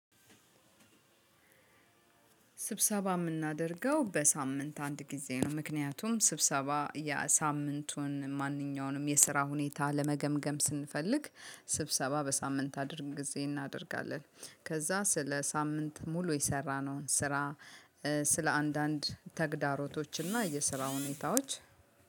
ስብሰባ የምናደርገው በሳምንት አንድ ጊዜ ነው። ምክንያቱም ስብሰባ የሳምንቱን ማንኛውንም የስራ ሁኔታ ለመገምገም ስንፈልግ ስብሰባ በሳምንት አድርግ ጊዜ እናደርጋለን። ከዛ ስለ ሳምንት ሙሉ የሰራነውን ስራ ስለ አንዳንድ ተግዳሮቶችና የስራ ሁኔታዎች